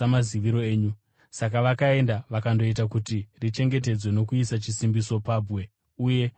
Saka vakaenda vakandoita kuti richengetedzwe nokuisa chisimbiso pabwe, uye nokuisa varindi.